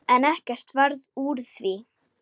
En ekkert varð úr því.